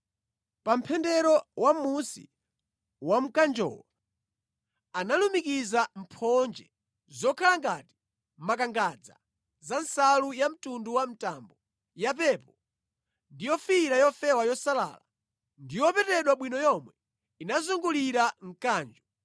Pa mpendero wamʼmunsi wa mkanjowo, analumikiza mphonje zokhala ngati makangadza za nsalu yamtundu wa mtambo, yapepo ndi yofiira yofewa yosalala ndi yopetedwa bwino yomwe inazungulira mkanjo.